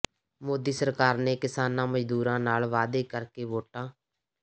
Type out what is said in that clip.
ਮੋਦੀ ਸਰਕਾਰ ਨੇ ਕਿਸਾਨਾ ਮਜਦੂਰਾਂ ਨਾਲ ਵਾਅਦੇ ਕਰਕੇ ਵੋਟਾਂ